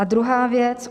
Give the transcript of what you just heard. A druhá věc.